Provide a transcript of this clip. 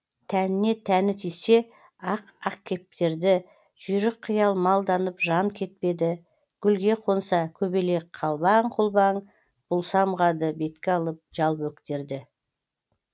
тәніне тәні тисе ақ ақкептерді жүйрік қиял малданып жан кетпеді гүлге қонса көбелек қалбаң құлбаң бұл самғады бетке алып жал бөктерді